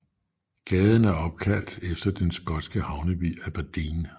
Gaden er opkaldt efter den skotske havneby Aberdeen